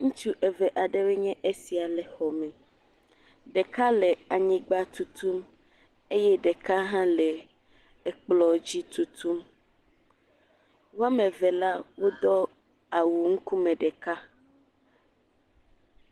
Ŋutsu eve aɖewoe nye esia le xɔ me, ɖeka le anyigba tutum eye ɖeka hã le ekplɔ dzi tutum. Woame eve la wodɔ awu ŋkume ɖeka.